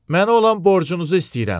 Mənə olan borcunuzu istəyirəm.